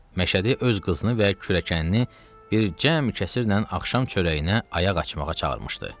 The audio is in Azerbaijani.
Məşədi öz qızını və kürəkənini bir cəm kəsirlə axşam çörəyinə ayaq açmağa çağırmışdı.